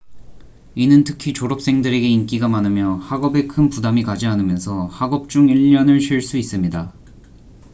이는 특히 졸업생들에게 인기가 많으며 학업에 큰 부담이 가지 않으면서 학업 중 1년을 쉴 수 있습니다